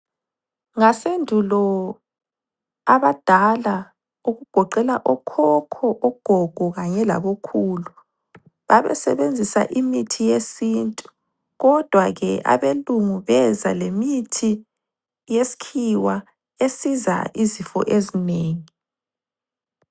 Ngasendulo abadala okugoqela okhokho, ogogo kanye labokhulu. Babesebenzisa imithi yesintu kodwa ke abelungu beza lemithi yeskhiwa esiza izifo ezinengi.